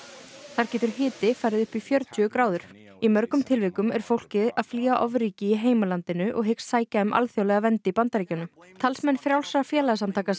þar getur hiti farið upp í fjörutíu gráður í mörgum tilvikum er fólkið að flýja ofríki í heimalandinu og hyggst sækja um alþjóðlega vernd í Bandaríkjunum talsmenn frjálsra félagasamtaka